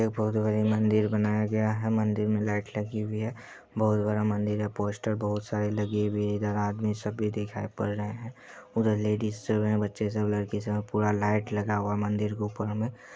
यह बहुत ही बड़ी मंदिर बनाया गया है मंदिर मे लाइट लगी हुई है बहुत बड़ा मंदिर है पोस्टर बहुत सारे लगे हुए है इधर आदमी सब भी दिखाई पड़ रहे हैं उधर लेडिज सब हैं और बच्चे सब है पूरा लाइट लगा हुआ है मंदिर के ऊपर मे |